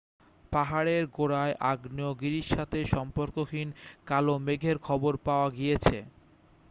পাহাড়ের গোড়ায় আগ্নেয়গিরির সাথে সম্পর্কহীন কালো মেঘের খবর পাওয়া গিয়েছে